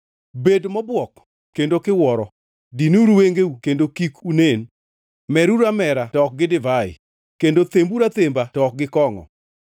Bed mobuok kendo kiwuoro, dinuru wengeu kendo kik unen, meruru amera to ok gi divai, kendo themburu athemba to ok gi kongʼo.